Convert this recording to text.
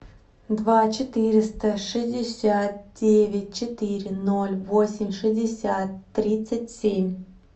два четыреста шестьдесят девять четыре ноль восемь шестьдесят тридцать семь